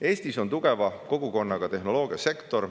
Eestis on tugeva kogukonnaga tehnoloogiasektor.